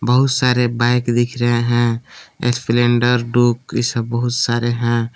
बहुत सारे बाइक दिख रहे है स्प्लेंडर डुक ई बहुत सारे है।